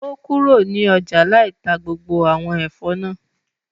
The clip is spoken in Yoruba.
O kúrò ní ọjà lai tá gbogbo àwọn Ẹ̀fọ́ náà